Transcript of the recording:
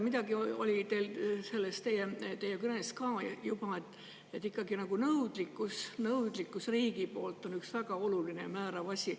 Midagi oli ka teie kõnes juba selle kohta, et nõudlikkus riigi poolt on ikkagi üks väga oluline ja määrav asi.